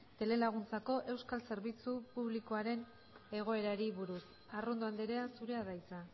telelaguntzako euskal zerbitzu publikoaren egoerari buruz arrondo andrea zurea da hitza